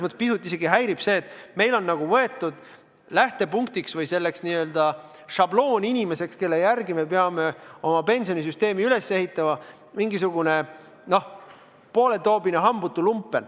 Mind pisut häirib, et meil on nagu selleks n-ö šablooninimeseks, kelle järgi me peame oma pensionisüsteemi üles ehitama, mingisugune poole aruga hambutu lumpen.